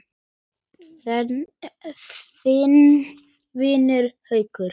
Þinn vinur, Haukur.